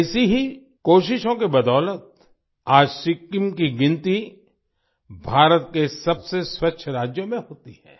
ऐसी ही कोशिशों की बदौलत आज सिक्किम की गिनती भारत के सबसे स्वच्छ राज्यों में होती है